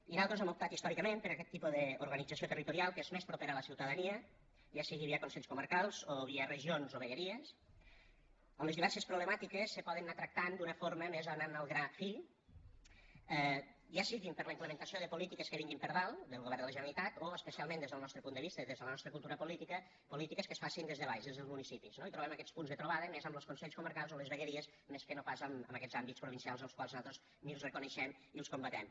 i nosaltres hem optat històricament per aquest tipus d’organització territorial que és més propera a la ciutadania ja sigui via consells comarcals o via regions o vegueries a on les diverses problemàtiques se poden anar tractant d’una forma més anant al gra fi ja sigui per la implementació de polítiques que vinguin per dalt del govern de la generalitat o especialment des del nostre punt de vista i des de la nostra cultura política polítiques que es facin des de baix des dels municipis no i trobem aquests punts de trobada més amb los consells comarcals o les vegueries més que no pas amb aquests àmbits provincials els quals nosaltres ni els reconeixem i els combatem